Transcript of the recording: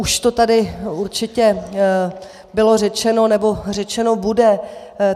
Už to tady určitě bylo řečeno, nebo řečeno bude.